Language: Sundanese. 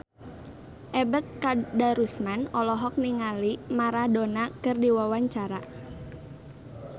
Ebet Kadarusman olohok ningali Maradona keur diwawancara